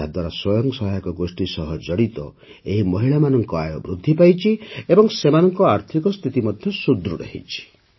ଏହାଦ୍ୱାରା ସ୍ୱୟଂ ସହାୟକ ଗୋଷ୍ଠୀ ସହ ଜଡ଼ିତ ଏହି ମହିଳାମାନଙ୍କ ଆୟ ବୃଦ୍ଧି ପାଇଛି ଏବଂ ସେମାନଙ୍କ ଆର୍ଥିକ ସ୍ଥିତି ମଧ୍ୟ ସୁଦୃଢ଼ ହୋଇଛି